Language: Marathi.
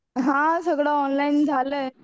हां सगळं ऑनलाईन झालंय.